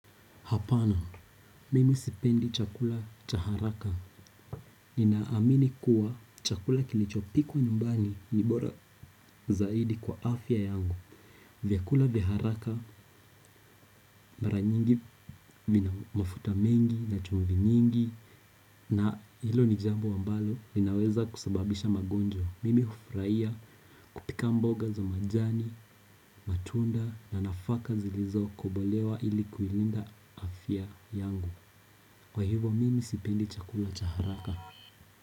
Hapana, mimi sipendi chakula cha haraka. Ninaamini kuwa chakula kilichopikwa nyumbani ni bora zaidi kwa afya yangu. Vyakula vya haraka, mara nyingi vina mafuta mengi na chumvi nyingi na hilo ni jambo ambalo linaweza kusababisha magonjwa. Mimi hufurahia kupika mboga za majani, matunda na nafaka zilizokobolewa ili kuilinda afya yangu. Kwa hivo mimi sipendi chakula cha haraka.